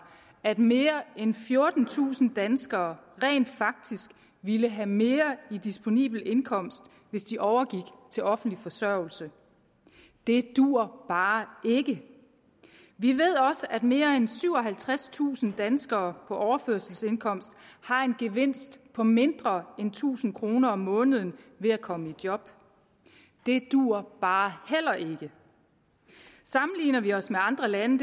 at mere end fjortentusind danskere rent faktisk ville have mere i disponibel indkomst hvis de overgik til offentlig forsørgelse det duer bare ikke vi ved også at mere end syvoghalvtredstusind danskere på overførselsindkomst har en gevinst på mindre end tusind kroner om måneden ved at komme i job det duer bare heller ikke sammenligner vi os med andre lande